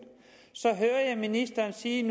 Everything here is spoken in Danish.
så ministeren sige